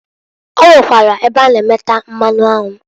O nwekwara ebe a na- emeta mmanụ anwụ.